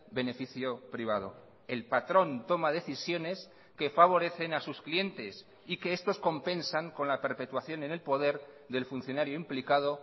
beneficio privado el patrón toma decisiones que favorecen a sus clientes y que estos compensan con la perpetuación en el poder del funcionario implicado